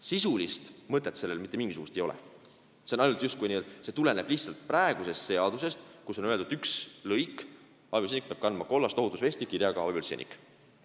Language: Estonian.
Sisulist mõtet sellel ei ole, see tuleneb lihtsalt praegusest seadusest, kus ühes lõigus on öeldud, et abipolitseinik peab kandma kollast ohutusvesti kirjaga "abipolitseinik".